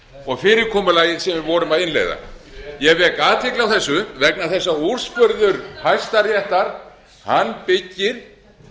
og fyrirkomulagið sem við vorum að innleiða ég vek athygli á þessu vegna þess að úrskurður hæstaréttar byggir